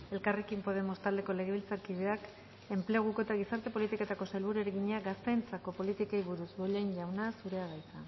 elkarrekin podemos taldeko legebiltzarkideak enpleguko eta gizarte politiketako sailburuari egina gazteentzako politikei buruz bollain jauna zurea da hitza